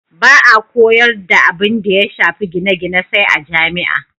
Ba a koyar da abinda ya shafi gine-gine sai a jami'a.